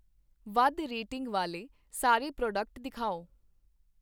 ਵੱਧ ਰੇਟਿੰਗ ਵਾਲੇ ਸਾਰੇ ਪ੍ਰੋਡਕਟ ਦਿਖਾਓ